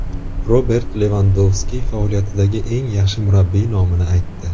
Robert Levandovski faoliyatidagi eng yaxshi murabbiy nomini aytdi.